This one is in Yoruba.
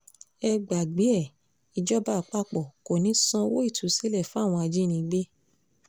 ẹ gbàgbé e ìjọba àpapọ̀ kò ní í sanwó ìtúsílẹ̀ fáwọn ajínigbé